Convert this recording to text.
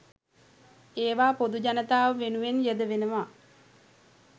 ඒවා පොදු ජනතාව වෙනුවෙන් යෙදවෙනවා.